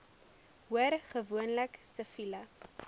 hoor gewoonlik siviele